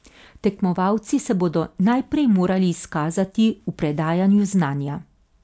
Tekmovalci se bodo najprej morali izkazati v predajanju znanja.